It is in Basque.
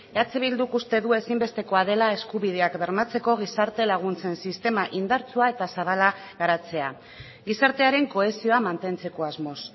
eh bilduk uste du ezinbestekoa dela eskubideak bermatzeko gizarte laguntzen sistema indartsua eta zabala garatzea gizartearen kohesioa mantentzeko asmoz